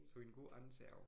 Så en god andenserv